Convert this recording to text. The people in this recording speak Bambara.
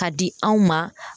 K'a di anw ma